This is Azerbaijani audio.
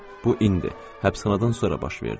Bu indi həbsxanadan sonra baş verdi.